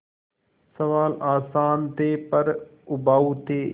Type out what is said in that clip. सवाल आसान थे पर उबाऊ थे